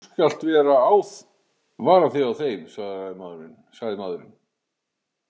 Þú skalt vara þig á þeim, sagði maðurinn.